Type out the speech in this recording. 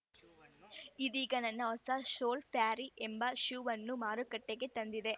ಇದೀಗ ತನ್ನ ಹೊಸ ಸೋಲ್‌ ಫ್ಯರಿ ಎಂಬ ಶೂವನ್ನು ಮಾರುಕಟ್ಟೆಗೆ ತಂದಿದೆ